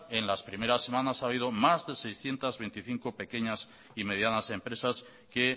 en las primeras semanas ha habido más de seiscientos veinticinco pequeñas y medianas empresas que